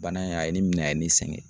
Bana in a ye ne minɛ a ye ne sɛgɛn.